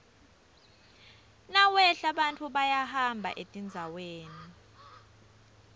nawehla bantfu bayahamba etindzaweni